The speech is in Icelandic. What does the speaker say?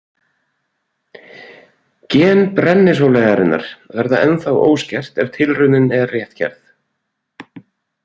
Gen brennisóleyjarinnar verða ennþá óskert ef tilraunin er rétt gerð.